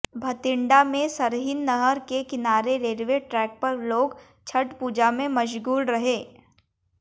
बठिंडा में सरहिंद नहर के किनारे रेलवे ट्रैक पर लोग छठ पूजा में मशगूल रहे